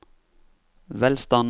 velstanden